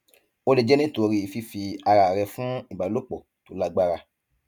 ó lè jẹ nítorí fífi ara rẹ fún ìbálòpọ tó lágbára